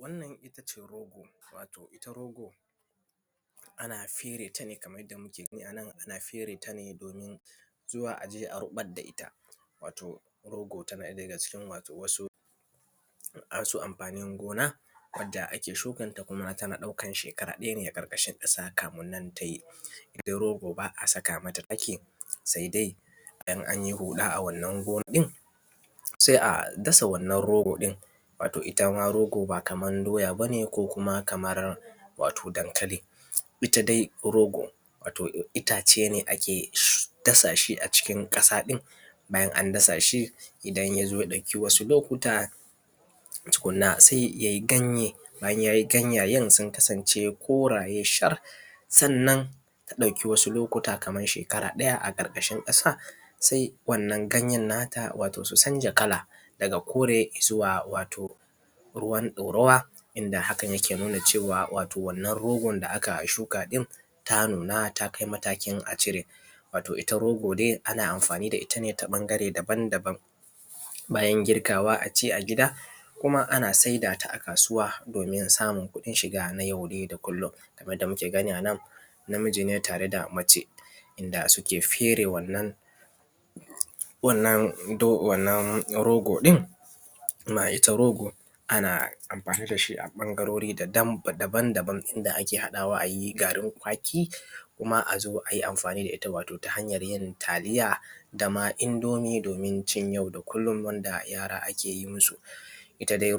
Wannan ittace wato itta rogo ana ferata nedomin zuwa aje a ruɓar da itta wato rogo tana daga cikin wato wasu amfanin gona wadda ake shukan sannan tan ɗaukan shekara ɗaya ne a ƙarƙashi ƙasa kaminnan tayi. Itta rogo ba’a saka mata taki saidai in anyi huɗa wannan gona ɗin sa’a dasa rogo ɗin wato itta ma rogo ba Kaman doya bane ko kumar wato dankali. Itta dai rogo wato ittace ne akae dasashi a ƙarƙashin ƙasa ɗin bayan an dasashi idan ya ɗauki wasu lokuta tukunna, yayi ganyae bayan yayi ganyayen sun kasance koraye sannan ta ɗauki wasu lokuta Kaman shekara ɗaya aƙarƙashin ƙasa sai wannan ganyen nata wato sun canja kala daga kore izuwa wato ruwan ɗarawa inda hakan yakan nuna cewa wato wanna rogo da aka shuka in ta nuna takai matakin a cire. Itta rogo dai ana amfani da itta ne ta ɓangare daban daban bayan yankawa aci a gida kuma ana saidawa a kasuwa domin samun kuɗin shiga nay au da kullum. Lkaman yadda mukr gani anan namiji ne ta reda mace inda suke fere wannan rogo ɗin kuma itta rogo ana amfani dashi a ɓangarori da dama daban daban inda ake haɗawa ayi garin kwaki kuma azo ayi amfani da itta ta hanyar yin taliya dama indomi abincin yau da kullun wadda yara a keyin musu. Tanada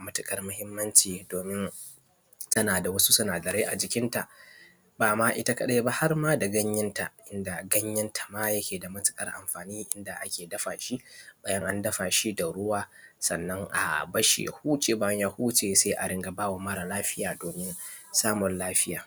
matuƙar mahimmanci domin tanada wasu sinada rai a jikinta bama itta kaɗa ba harma da ganyenta. Inda ganyen ma yakeda matuƙar amfani inda akedafashi bayan an dafashi bayan andafashi da ruwa sannan a barshi ya huce bayan ya huce sa’a rika bama mara lafiya domin samun lafiya.